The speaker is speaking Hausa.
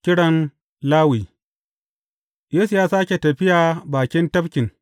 Kiran Lawi Yesu ya sāke tafiya bakin tafkin.